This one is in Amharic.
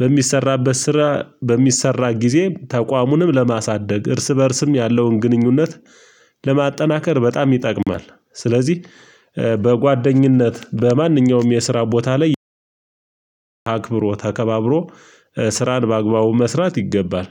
በሚሰራበት ስራ በሚሰራ ጊዜ ተቋሙንም ለማሳደግ እርስ በእርስም ያለውን ግንኙነት ለማጠናከር በጣም ይጠቅማል። ስለዚህ በጓደኝነት በማንኛውም የስራ ቦታ ላይ አክብሮ ተከባብሮ ስራን በአግባቡ መስራት ይገባል